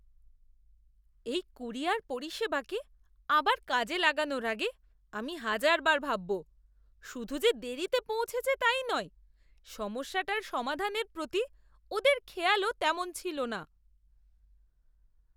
এই ক্যুরিয়র পরিষেবাকে আবার কাজে লাগানোর আগে আমি হাজারবার ভাববো। শুধু যে দেরিতে পৌঁছেছে তাই নয়, সমস্যাটার সমাধানের প্রতি ওদের খেয়ালও তেমন ছিল না।